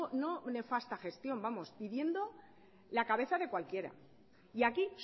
no nefasta gestión vamos pidiendo la cabeza de cualquiera y aquí